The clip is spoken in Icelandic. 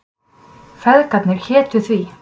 Feðgarnir hétu því.